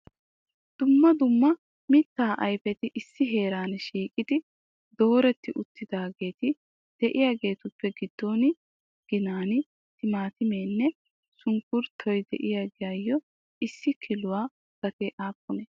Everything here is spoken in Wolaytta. Dumma dumma mitta ayfeti issi heeran shiiqi dooretti uttidaageeti de'iyaageetuppe giddo ginan timaatimenne sunkkuruttoy de'iyaagayyo issi kiluwaa gatee aappune ?